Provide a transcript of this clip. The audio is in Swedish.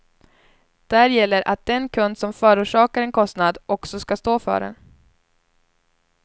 Där gäller att den kund som förorsakar en kostnad också skall stå för den.